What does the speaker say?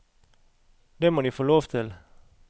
Det må de få lov til.